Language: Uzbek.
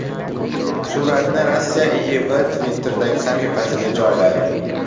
Suratni Rossiya IIV Twitter’dagi sahifasiga joyladi .